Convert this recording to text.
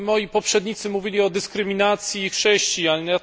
Moi poprzednicy mówili o dyskryminacji chrześcijan.